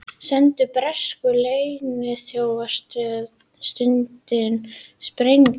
Sendu bresku leyniþjónustunni sprengju